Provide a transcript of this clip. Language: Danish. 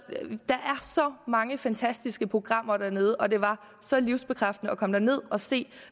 så mange fantastiske programmer dernede og det var så livsbekræftende at komme derned og se